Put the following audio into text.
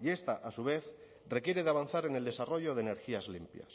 y esta a su vez requiere de avanzar en el desarrollo de energías limpias